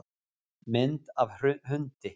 Mynd af hundi.